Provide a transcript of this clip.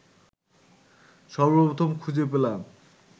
সর্বপ্রথম খুঁজে পেলাম